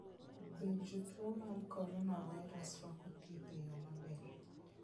Be jotuo mag coronavirus rwako thieth e yo maber?